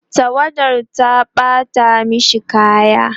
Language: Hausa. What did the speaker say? tawadar ta ɓata mashi kaya